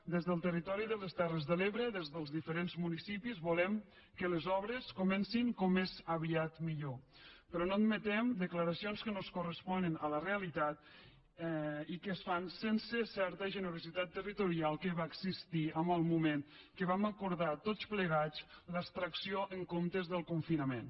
des del territori de les terres de l’ebre des dels diferents municipis volem que les obres comencin com més aviat millor però no admetem declaracions que no es corresponen amb la realitat i que es fan sense certa generositat territorial que va existir en el moment que vam acordar tots plegats l’extracció en comptes del confinament